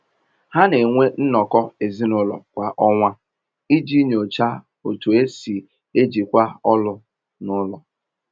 Ha na-enwe nnọkọ ezinụlọ kwa ọnwa iji nyochaa otú e si ejikwa ọlụ n’ụlọ.